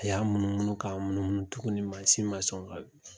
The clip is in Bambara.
A y'a munumunu k'a munumunu tuguni ma sɔn ka wili